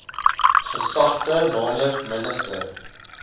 gesagte nl minister